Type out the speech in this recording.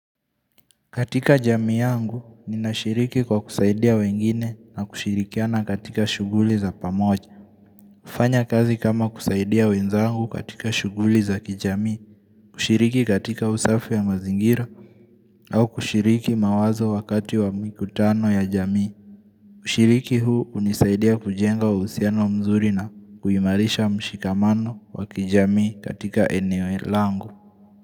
Katika jamii yangu, ninashiriki kwa kusaidia wengine na kushirikiana katika shughuli za pamoja. Kufanya kazi kama kusaidia wenzangu katika shughuli za kijamii, kushiriki katika usafi ya mazingira, au kushiriki mawazo wakati wa mikutano ya jamii. Kushiriki huu hunisaidia kujenga uhusiano mzuri na kuimarisha mshikamano wa kijamii katika eneo langu.